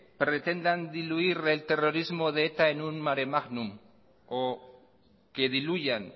pretendan diluir el terrorismo de eta en un maremagnum o que diluyan